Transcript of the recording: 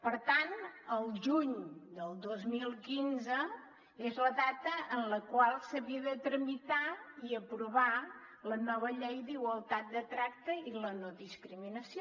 per tant al juny del dos mil quinze és la data en la qual s’havia de tramitar i aprovar la nova llei d’igualtat de tracte i la no discriminació